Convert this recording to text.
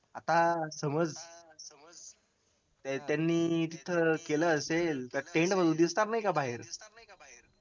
आता समज त्यांनी तिथं केलं असेल तर tent मधून दिसणार नाही का बाहेर